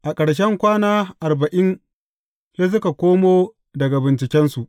A ƙarshen kwana arba’in sai suka komo daga bincikensu.